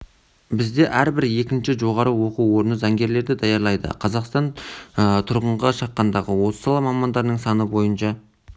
бізде әрбір екінші жоғарғы оқу орны заңгерлерді даярлайды қазақстан тұрғынға шаққандағы осы сала мамандарының саны бойынша